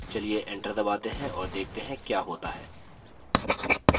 चलिए enter दबाते हैं और देखते हैं क्या होता है